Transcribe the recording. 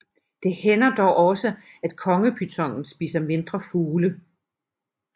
Det hænder dog også at kongepytonen spiser mindre fugle